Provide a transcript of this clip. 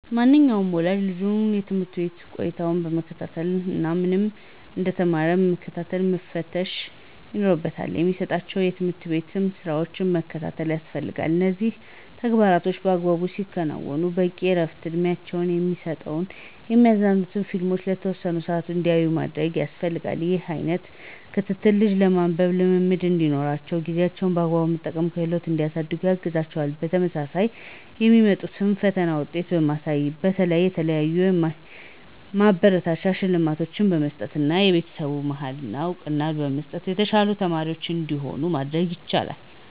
ማንኛውም ወላጅ ልጁን የትምህርት ቤት ቆይታውን መከታተል እና ምን ምን እንደተማረ መከታተልና መፈተሽ ይኖርባቸዋል። የሚሰጣቸውን የቤት ስራም መከታተል ያስፈልጋል እነዚህን ተግባሮቻቸውን በአግባቡ ሲያከናዉኑ በቂ እረፍትና እድሜያቸውን የሚመጥን የሚያዝናኑ ፊልሞችን ለተወሰነ ሰአት እንዲያዩ ማድረግ ያስፈልጋል። ይህ አይነት ክትትል ልጆች የማንበብ ልምድ እንዲኖራቸውና ጊዜያቸውን በአግባቡ የመጠቀም ክህሎታቸውን እንዲያሳድጉ ያግዛቸዋል። በተመሳሳይ የሚያመጡትን የፈተና ውጤት በማየት የተለያዩ ማበረታቻ ሽልማቶችን በመስጠትና በቤተሰቡ መሀል እውቅና በመስጠት የተሻሉ ተማሪዎች እንዲሆኑ ማድረግ ይቻላል።